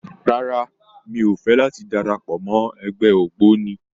Rárá, mi ò fẹ́ láti darapọ̀ mọ́ ẹgbẹ́ ògbóni.